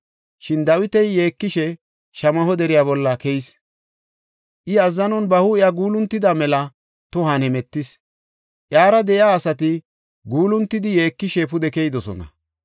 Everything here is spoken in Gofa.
Shin Dawiti yeekishe Shamaho deriya bolla keyis. I azzanon ba huuphiya guuluntidi mela tohon hemetis; iyara de7iya asati guuluntidi yeekishe pude keyidosona.